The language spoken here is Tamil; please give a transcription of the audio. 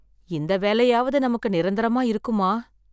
இந்த வேலையாவது நமக்கு நிரந்தரமா இருக்குமா?